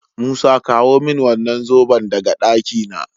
Musa kawo min wannan zoben daga ɗakina